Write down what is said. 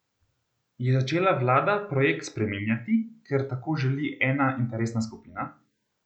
Je začela vlada projekt spreminjati, ker tako želi ena interesna skupina?